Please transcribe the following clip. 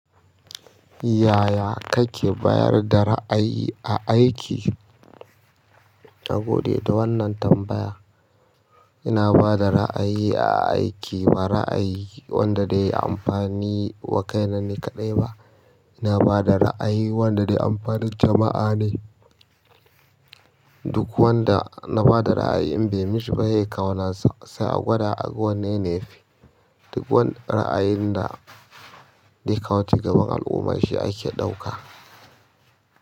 Yaya kake bayar da ra'ayi a aiki? Na gode da wannan tambaya. Ina bada ra'ayi a aiki wanda zai amfani wa kaina ni kaɗai ba, ina bada ra'ayine wanda zai amfani jama'a ne. Duk wanda na ba da ra'ayi in bai mishi ba sai ya kawo nasa sai a gwana sa gwada a ga wanne ze fi. Duk wani ra'ayin da aka wuce gaban al'umma shi ake ɗauka.